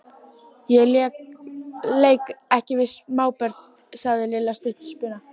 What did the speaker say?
Ég leik ekki við smábörn sagði Lilla stutt í spuna.